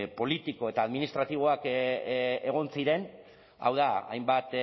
politiko eta administratiboak egon ziren hau da hainbat